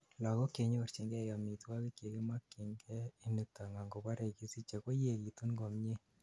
lagok chenyorjingei omitwokik chekimokyin ke initon angoborei kisiche koyegitun komie